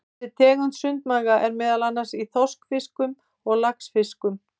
Þessi tegund sundmaga er meðal annars í þorskfiskum og laxfiskum.